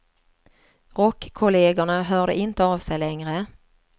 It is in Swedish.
Rockkollegerna hörde inte av sig längre.